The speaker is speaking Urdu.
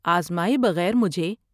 آزمائے بغیر مجھے